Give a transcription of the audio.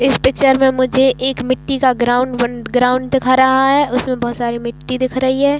इस पिक्चर में मुझे एक मिट्टी का ग्राउंड वन ग्राउंड दिखा रहा है उसमें बहोत सारी मिट्टी दिख रही है।